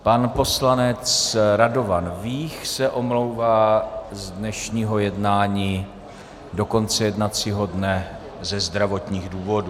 Pan poslanec Radovan Vích se omlouvá z dnešního jednání do konce jednacího dne ze zdravotních důvodů.